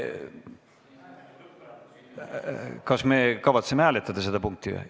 Kas me kavatseme seda punkti hääletada?